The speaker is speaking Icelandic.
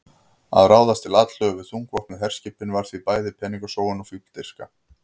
Að ráðast til atlögu við þungvopnuð herskipin var því bæði peningasóun og fífldirfska.